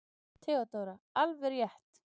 THEODÓRA: Alveg rétt!